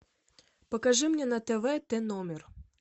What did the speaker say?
покажи мне на тв т номер